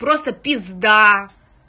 просто пизда